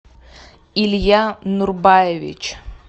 илья нурбаевич